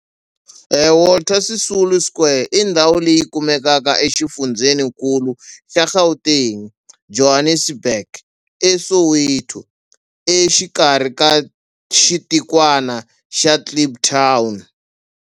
Walter Sisulu Square i ndhawu leyi kumekaka exifundzhenikulu xa Gauteng, Johannesburg, a Soweto, exikarhi ka xitikwana xa Kliptown.